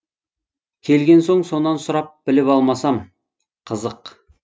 келген соң сонан сұрап біліп алмасам қызық